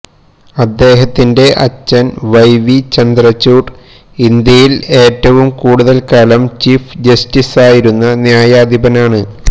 അദ്ദേഹത്തിന്റെ അച്ഛൻ Y V Chandrachud ഇന്ത്യയിൽ ഏറ്റവും കൂടുതൽ കാലം ചീഫ് ജസ്റ്റിസായിരുന്ന ന്യായാധിപനാണ്